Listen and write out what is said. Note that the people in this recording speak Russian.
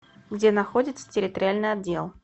где находится территориальный отдел